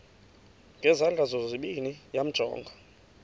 ngezandla zozibini yamjonga